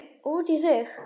Og út í þig.